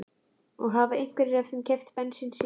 Og hafa einhverjir af þeim keypt bensín síðan